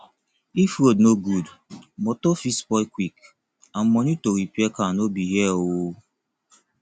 if road no good motor fit spoil quick and money to repair car no be here o